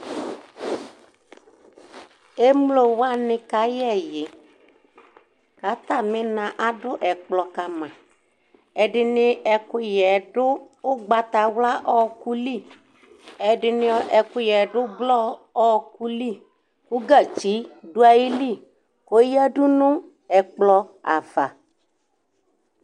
emlo wani kayɛ ɛyi k'atami na ado ɛkplɔ kama ɛdini ɛkoyɛ do ugbatawla ɔko li ɛdini ɛkoyɛ do ublɔ ɔko li ko gatsi do ayili ko oyadu no ɛkplɔ ava